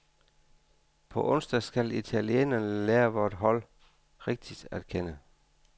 På onsdag skal italienerne lære vort hold rigtigt at kende.